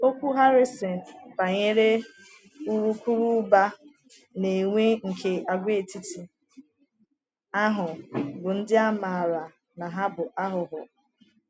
Okwu Harrison banyere urukurubụba na enwe nke àgwàetiti ahụ bụ ndị a maara na ha bụ aghụghọ.